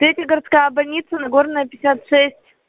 третья городская больница нагорная пятьдесят шесть